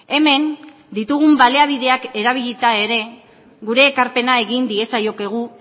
hemen ditugun baliabideak erabilita ere gure ekarpena egin diezaiokegu